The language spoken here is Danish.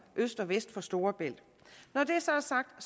øst og vest for storebælt når det så er sagt har